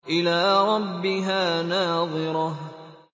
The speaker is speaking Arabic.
إِلَىٰ رَبِّهَا نَاظِرَةٌ